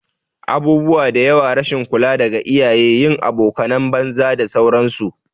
Abubuwa diyawa, rashin kula daga iyaye, yin abokanan banza da sauran su